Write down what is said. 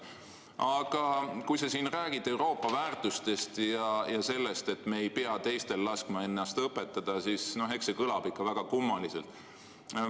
Aga kui sa räägid Euroopa väärtustest ja sellest, et me ei pea laskma teistel ennast õpetada, siis see kõlab väga kummaliselt.